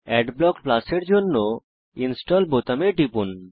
adblock Plus এর জন্য install বোতামে টিপুন